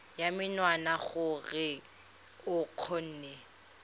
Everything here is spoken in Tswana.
ya menwana gore o kgone